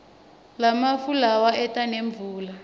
lamafu lawa eta nemvula